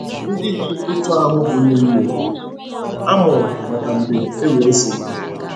Ndị dị otú ahụ bụ ụmụnne “ a mụrụ maka mgbe enwere nsogbu.